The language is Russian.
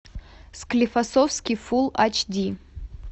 склифосовский фулл ач ди